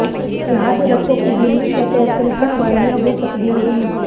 ਯਾਦ ਰੱਖੋ ਕਿ ਗਿੱਲੀ ਸਤਹ ਤਿਲਕਣ ਵਾਲੀਆਂ ਹੋ ਸਕਦੀਆਂ ਹਨ